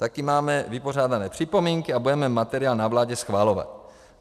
Také máme vypořádané připomínky a budeme materiál na vládě schvalovat.